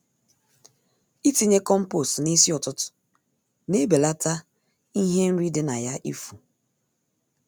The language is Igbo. Itinye compost n'isi ụtụtụ na-ebelata ihe nri di na ya ifu.